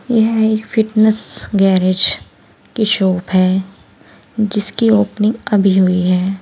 यह एक fitness garage की शॉप है जिसकी ओपनिंग अभी हुई है।